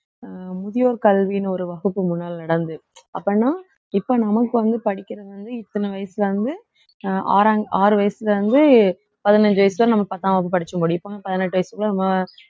அஹ் முதியோர் கல்வின்னு ஒரு வகுப்பு முன்னால நடந்து அப்படின்னா இப்ப நமக்கு வந்து படிக்கிறது வந்து இத்தனை வயசுல இருந்து அஹ் ஆறாங்~ ஆறு வயசுல இருந்து பதினஞ்சி வயசு வரை நம்ம பத்தாம் வகுப்பு படிச்சி முடிப்போம் பதினெட்டு வயசுல அஹ்